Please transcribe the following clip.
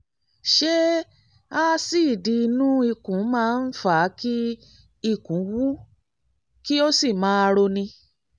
ṣé aásíìdì inú ikùn máa ń fa kí ikùn wú kí ó sì máa roni?